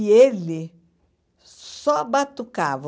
E ele só batucava.